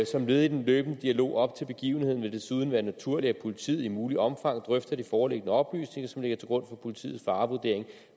som led i den løbende dialog op til begivenheden vil det desuden være naturligt at politiet i muligt omfang drøfter de foreliggende oplysninger som ligger til grund for politiets farevurdering